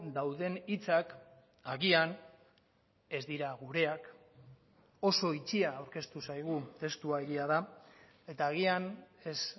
dauden hitzak agian ez dira gureak oso itxia aurkeztu zaigu testua egia da eta agian ez